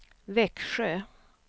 Växjö